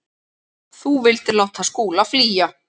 Þú vildir láta Skúla flýja.